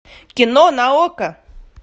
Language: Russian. кино на окко